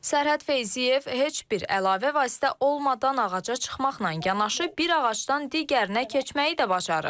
Sərhəd Feyziyev heç bir əlavə vasitə olmadan ağaca çıxmaqla yanaşı bir ağacdan digərinə keçməyi də bacarır.